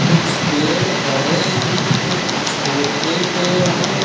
कुछ पेड़ बड़े हैं कुछ छोटे पेड़ हैं।